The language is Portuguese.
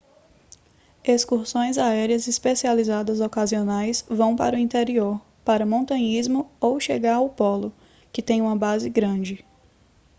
excursões aéreas especializadas ocasionais vão para o interior para montanhismo ou chegar ao polo que tem uma base grande